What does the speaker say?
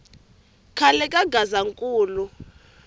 khale ka gazankulu